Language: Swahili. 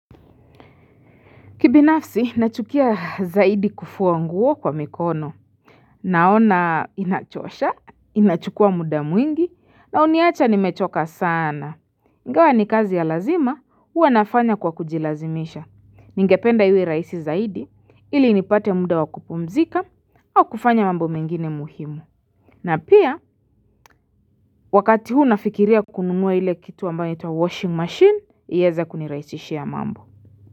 Kibinafsi, nachukia zaidi kufua nguo kwa mikono. Naona inachosha, inachukua muda mwingi, na uniacha nimechoka saana. Ingawa ni kazi ya lazima, huwa nafanya kwa kujilazimisha. Ningependa iwe rahisi zaidi, ili nipate muda wakupumzika, au kufanya mambo mengine muhimu. Na pia, wakati huu nafikiria kununua ile kitu ambayo inaitwa washing machine, yeza kuniraisishia mambo.